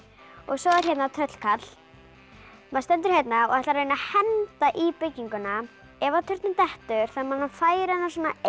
og svo er hérna tröllkarl maður stendur hérna og ætlar að reyna að henda í bygginguna ef að turninn dettur þarf maður að færa hann